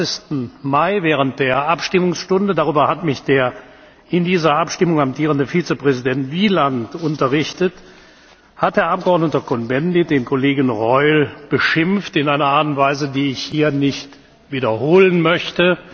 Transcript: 23. Mai während der Abstimmungsstunde darüber hat mich der in dieser Abstimmung amtierende Vizepräsident Wieland unterrichtet hat der Abgeordnete Cohn Bendit den Kollegen Reul beschimpft in einer Art und Weise, die ich hier nicht wiederholen möchte.